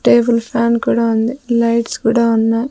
Table fan కూడా ఉంది lights కూడా ఉన్నాయి.